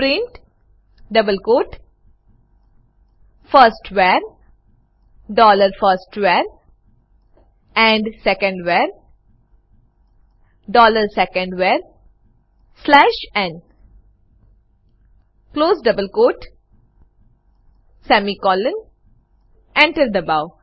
print double quote firstVar dollar first var and secondVar dollar second var slash n close double quote semicolon Enter દબાઓ